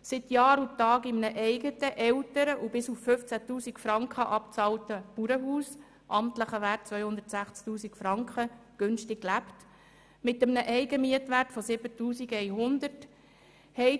seit Jahr und Tag günstig in einem eigenen, älteren und bis auf 15 000 Franken abbezahlten Bauernhaus lebt mit einem amtlichen Wert von 260 000 Franken und einem Eigenmietwert von 7100 Franken;